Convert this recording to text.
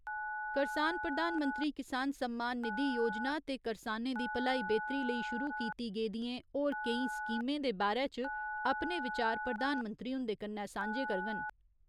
करसान प्रधानमंत्री किसान सम्मान निधि योजना ते करसानें दी भलाई बेह्‌तरी लेई शुरु कीती गेदिएं होर केईं स्कीमें दे बारै च अपने विचार प्रधानमंत्री हुन्दे कन्नै सांझे करङन।